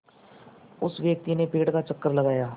उस व्यक्ति ने पेड़ का चक्कर लगाया